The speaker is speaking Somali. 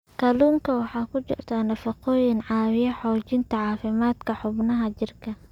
Kalluunka waxaa ku jira nafaqooyin caawiya xoojinta caafimaadka xubnaha jirka.